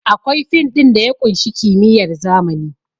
Akwai fin ɗin da ya ƙunshi kimiyyar zamani